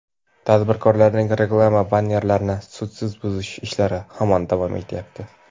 tadbirkorlarning reklama bannerlarini sudsiz buzish ishlari hamon davom etyapti.